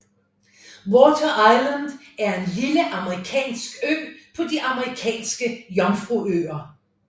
Water Island er en lille amerikansk ø på de Amerikanske Jomfruøer